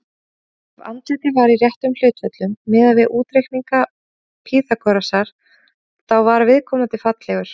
Ef andlitið var í réttum hlutföllum, miðað við útreikninga Pýþagórasar, þá var viðkomandi fallegur.